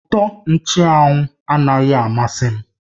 Utọ nchụ́anwu anaghị amasị m